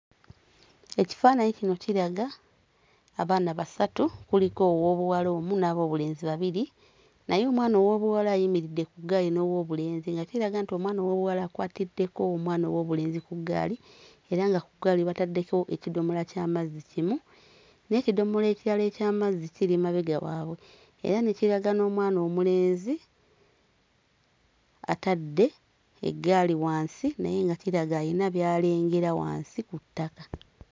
Ekifaananyi kino kiraga abaana basatu, kuliko owoobuwala omu n'aboobulenzi babiri, naye omwana owoobuwala ayimiridde ku ggaali n'owoobulenzi nga kiraga nti omwana ow'obuwala akwatiddeko omwana owoobulenzi ku ggaali, era nga ku ggaali bataddeko ekidomola ky'amazzi kimu, n'ekidomola ekirala eky'amazzi kiri mabega waabwe. Era ne kiraga n'omwana omulenzi, atadde eggaali wansi naye nga kiraga alina by'alengera wansi ku ttaka.